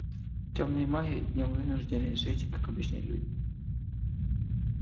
тёмные маги днём вынуждены жить как обычные люди